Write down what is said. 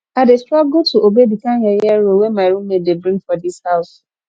i dey struggle to obey di kind yeye rule wey my roommate dey bring for dis house